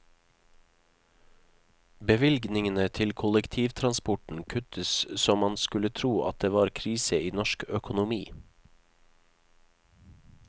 Bevilgningene til kollektivtransporten kuttes så man skulle tro at det var krise i norsk økonomi.